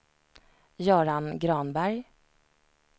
Göran Granberg